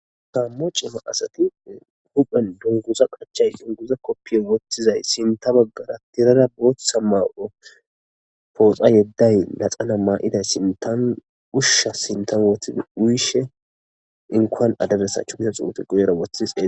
tammo ciima asati huphen dunguza qachay dunguza koppiye wottizay sinta baggara tirara booththa maa7o pooxa yedday laxana maa7iday sintan ushsha sinta woothid uyishe inkoan adabesachu miya xuufi goyera woththise